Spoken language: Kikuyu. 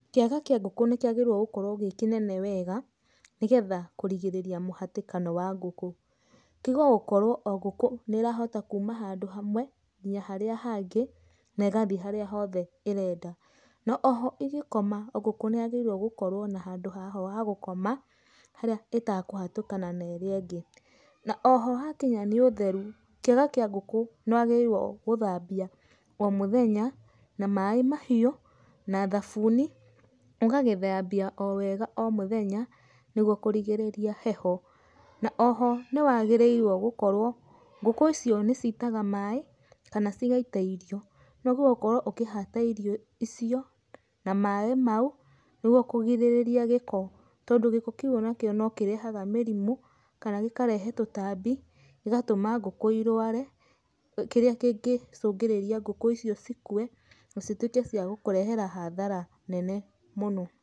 Kĩaga kĩa ngũkũ nĩkĩagĩrĩirwo gũkorwo gĩ kĩnene wega nĩgetha kũrigĩrĩria mũhatĩkano wa ngũkũ. Tigogũkorwo o gũkũ nĩrahota kuuma handũ hamwe nginya harĩa hangĩ negathi harĩa hothe ĩrenda. No oho ĩgĩkoma ngũkũ nĩyagĩrĩirwo gũkorwo na handũ haho ha gũkoma haria ĩtakũhatũkana na iria ingĩ. Na oho hakinya nĩ ũtheru kĩaga kĩa ngũkũ nĩwagĩrĩirwo gũthambia o mũthenya na maaĩ mahiũ na thabuni, ũgagĩthambia o wega o mũthenya nĩgwo kũrigĩrĩria heho. Na oho nĩwagĩrĩirwo gũkorwo, ngũkũ icio nĩcitaga maaĩ kana cigaita irio, nĩwagĩrĩirwo gũkorwo ũkĩhata irio icio na maaĩ mau nĩgwo kũgĩrĩrĩria gĩko, tondũ gĩko kĩu onakĩo no kĩrehaga mĩrimũ, kana gĩkarehe tũtambi gĩgatũma ngũkũ irware, kĩrĩa kĩngĩcũngĩrĩria ngũkũ icio cikue na cituĩke cia gũkũrehera hathara nene mũno.